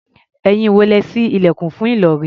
Ẹ̀yin wo lẹ́ ṣí ilẹ̀kùn fún Ìlọ̀rí?